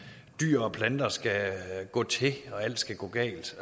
dyr og planter skal gå til og alt skal gå galt